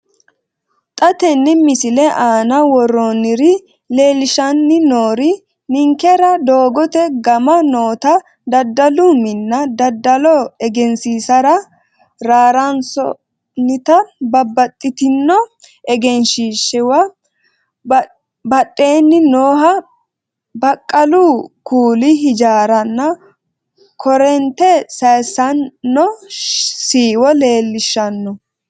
Xa tenne missile aana worroonniri leellishshanni noori ninkera doogote gama noota daddalu minna, daddalo egensiinsara rarraansoonnita babbaxxitino egensiishshiewa badheeni nooha baqqalu kuuli ijaaranna korreente sayiisaanno siiwo leellishshanno.